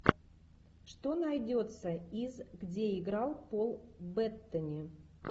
что найдется из где играл пол беттани